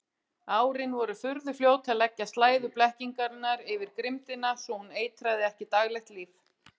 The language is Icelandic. Árin voru furðufljót að leggja slæðu blekkingarinnar yfir grimmdina svo hún eitraði ekki daglegt líf.